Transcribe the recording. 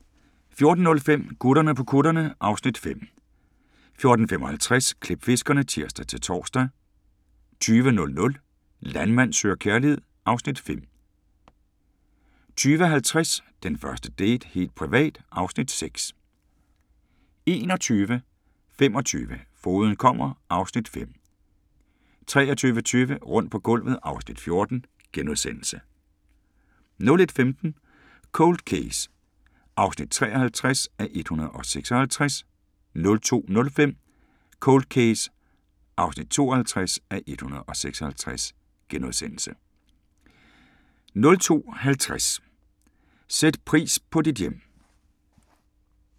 14:05: Gutterne på kutterne (Afs. 5) 15:55: Klipfiskerne (tir-tor) 20:00: Landmand søger kærlighed (Afs. 5) 20:50: Den første date - helt privat (Afs. 6) 21:25: Fogeden kommer (Afs. 5) 23:20: Rundt på gulvet (Afs. 14)* 01:15: Cold Case (53:156) 02:05: Cold Case (52:156)* 02:50: Sæt pris på dit hjem